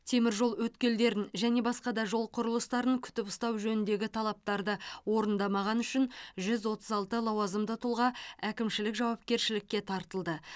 теміржол өткелдерін және басқа да жол құрылыстарын күтіп ұстау жөніндегі талаптарды орындамағаны үшін жүз отыз алты лауазымды тұлға әкімшілік жауапкершілікке тартылды